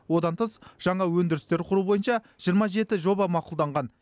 одан тыс жаңа өндірістер құру бойынша жиырма жеті жоба мақұлданған